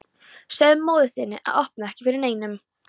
Segðu móður þinni að opna ekki fyrir neinum.